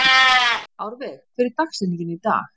Árveig, hver er dagsetningin í dag?